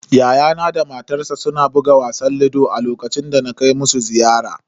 Yayana da matarsa suna buga wasan ludo a lokacin da na kai musu ziyara.